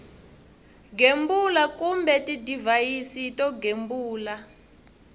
gembula kumbe tidivhayisi to gembula